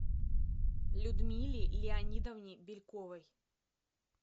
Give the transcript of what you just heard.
людмиле леонидовне бельковой